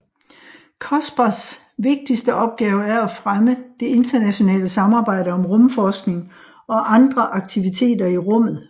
COSPARs vigtigste opgave er at fremme det internationale samarbejde om rumforskning og andre aktiviteter i rummet